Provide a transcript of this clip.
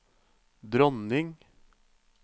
dronning